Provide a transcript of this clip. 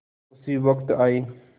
उसी वक्त आये